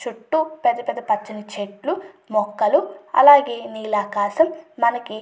చుట్టూ పెద్ద పెద్ద పచ్చని చెట్లు మొక్కలు అలాగే నీలాకాసం మనకి--